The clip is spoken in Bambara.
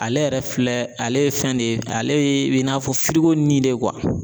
Ale yɛrɛ filɛ ale ye fɛn de ye ale ye bɛ i n'a fɔ firigo nin de